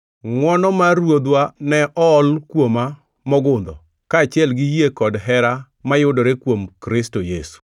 Ngʼwono mar Ruodhwa ne ool kuoma mogundho, kaachiel gi yie kod hera mayudore kuom Kristo Yesu.